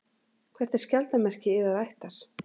Hvert er skjaldarmerki yðar ættar?